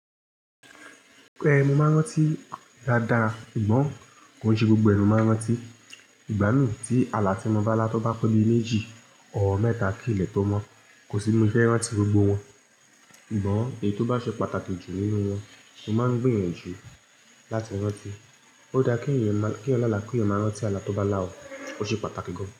Ẹ, mo máa ń rántí dáadáa. Ìgbọ́n ko n ṣe gbogbo ẹ ni máa ń rántí. Ìgbá mi tí ala tí mo bá lá tó bá tóbi méjì or mẹ́ta kì ílẹ tó mọ́. Kò sí bi mo ṣe fẹ rántí gbogbo wọn. Sugbọ́n, èyí tó bá ṣe pàtàkì jù nínú wọn ló máa ń gbiyanjù láti rántí. Ó dá kí èèyàn máa kí èèyàn naa máa ki eeyan maa rántí ala tó bá là ọ́. Ó ṣe pàtàkì gan-an.